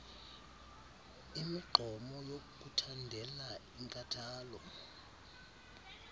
imigqomo yokuthandela inkathalo